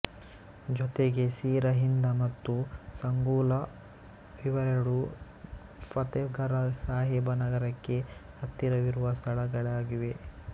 ಜೊತೆಗೆ ಸಿರಹಿಂದ ಮತ್ತು ಸಂಘೂಲ ಇವೆರಡು ಫತೆಘರ ಸಾಹಿಬ ನಗರಕ್ಕೆ ಹತ್ತಿರ ವಿರುವ ಸ್ಥಳಗಳಾಗಿವೆ